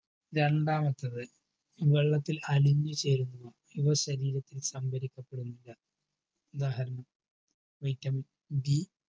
രണ്ടാമത്തത് വെള്ളത്തിൽ അലിഞ്ഞു ചേരുന്ന ഇവ ശരീരത്തിന്സാന്ത്വനിക്കപ്പെടുന്നു ഉദാഹരണം vitamin D